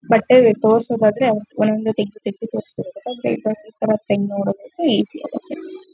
ಬಟ್ಟೆ ತೋರ್ಸೋದಾದ್ರೆ ಒಂದೊಂದೇ ತೆಗದು ತೆಗದು ತೋರ್ಸ್ಬೇಕಾಗುತ್ತೆ. ಆದ್ರೆ ನೋಡೋದಾದ್ರೆ ಈಜಿ ಆಗುತ್ತೆ.